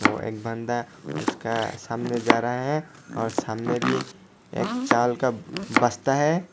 एक बंदा उसका सामने जा रहा है और सामने भी एक चाल का बसता है।